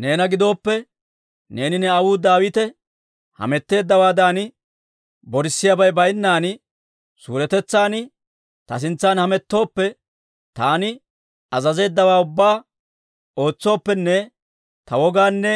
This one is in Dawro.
«Neena gidooppe, neeni ne aawuu Daawite hametteeddawaadan borisiyaabay baynnan suuretetsan ta sintsan hamettooppe, taani azazeeddawaa ubbaa ootsooppenne ta wogaanne